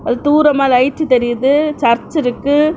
தூரமா லைட்ஸ் தெரியுது. சர்ச் இருக்கு.